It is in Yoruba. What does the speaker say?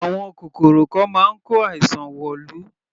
Àwọn kòkòrò kan máa ń kó àìsàn wọ̀lú.